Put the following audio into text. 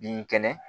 Bin kɛnɛ